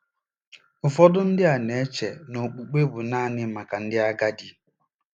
Ụfọdụ ndị na-eche na okpukpe bụ naanị maka ndị agadi.